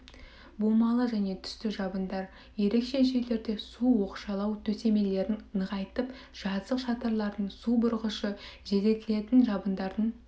бумалы және түсті жабындар ерекше жерлерде су оқшаулау төсемелерін нығайтып жазық шатырлардың су бұрғышы желдетілетін жабындардың